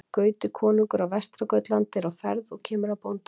Gauti konungur á Vestra-Gautlandi er á ferð og kemur að bóndabæ.